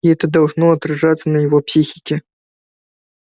и это должно отражаться на его психике